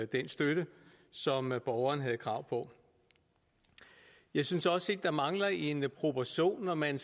den støtte som borgeren havde krav på jeg synes også der mangler en proportion når man